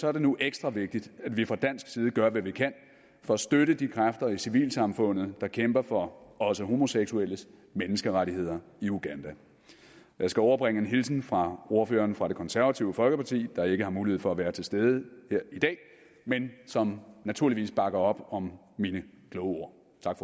er det nu ekstra vigtigt at vi fra dansk side gør hvad vi kan for at støtte de kræfter i civilsamfundet der kæmper for også homoseksuelles menneskerettigheder i uganda jeg skal overbringe en hilsen fra ordføreren fra det konservative folkeparti der ikke har mulighed for at være til stede her i dag men som naturligvis bakker op om mine kloge ord